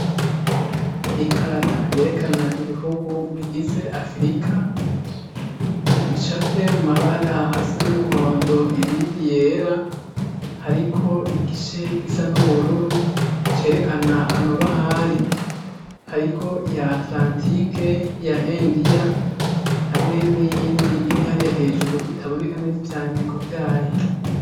Ikarata yerekana ibihugu bigize Afurika, bicafye mu mabara asa n'umuhondo ibindi yera, hariko igice gisa n'ubururu cerekana amabahari, hariko iya Atlantic na India hamwe n'iyindi iri hariya hejuru itaboneka neza ivyandiko vyayo.